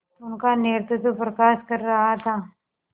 उनका नेतृत्व प्रकाश कर रहा था